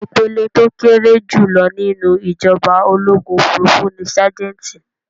Ìpele tó kéré jùlọ nínú ìjọba ológun òfurufú ní ságẹ́ńtì.